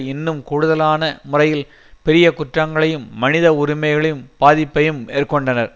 இன்னும் கூடுதலான முறையில் பெரிய குற்றங்களையும் மனித உரிமைகளையும் பாதிப்பையும் மேற்கொண்டனர்